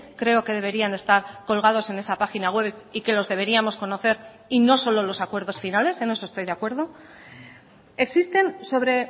creo que deberían estar colgados en esa página web y que los deberíamos conocer y no solo los acuerdos finales en eso estoy de acuerdo existen sobre